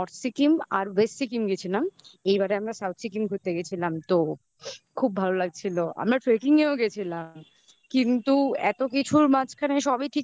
আর base Sikkim গেছিলাম. এইবারে আমরা South সিকিম ঘুরতে গেছিলাম. তো খুব ভালো লাগছিল. আমরা tracking এও গেছিলাম কিন্তু এত কিছুর মাঝখানে সবই ঠিক ছিল